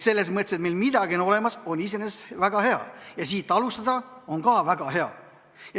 Selles mõttes, et see, et meil midagi on olemas, on iseenesest väga hea, siit alustada on ka väga hea.